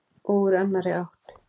Og úr annarri átt.